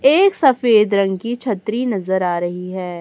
एक सफेद रंग की छतरी नजर आ रही है।